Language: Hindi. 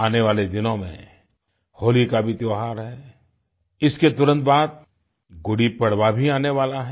आने वाले दिनों में होली का भी त्योहार है इसके तुरंत बाद गुड़ीपड़वा भी आने वाला है